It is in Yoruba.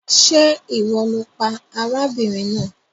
Ṣe iwọ lo pa arábìnrin náà?